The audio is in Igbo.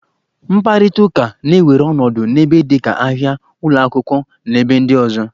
Mkparịta ụka na-ewere ọnọdụ n'ebe dịka ahia, ụlọ akwụkwọ, na ebe ndị ọzọ.